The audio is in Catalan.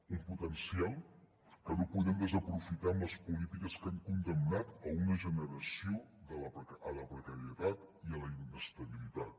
un potencial que no podem desaprofitar amb les polítiques que han condemnat una generació a la precarietat i a la inestabilitat